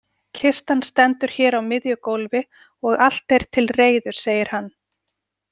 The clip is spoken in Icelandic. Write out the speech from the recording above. Kistan stendur hér á miðju gólfi og allt er til reiðu, segir hann.